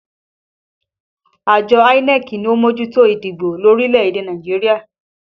Àjọ INEC ni ó ń mójútó ìdìbò lórílẹ̀ èdè Nàìjíríà